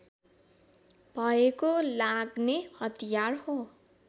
भएको लाग्ने हतियार हो